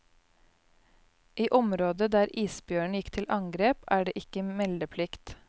I området der isbjørnen gikk til angrep, er det ikke meldeplikt.